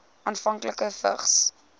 afhanklikes vigs